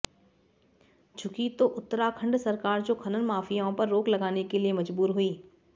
झुकी तो उत्तराखंड सरकार जो खनन माफियाओं पर रोक लगाने के लिए मजबूर हुई